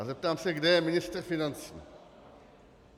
A zeptám se, kde je ministr financí?